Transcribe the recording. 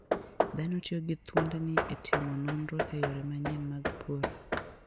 Dhano tiyo gi thuondni e timo nonro e yore manyien mag pur.